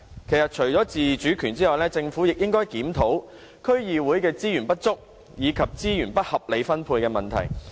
其實，除了自主權，政府亦應該檢討區議會的資源不足，以及資源不合理分配的問題。